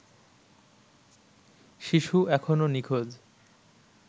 শিশু এখনও নিখোঁজ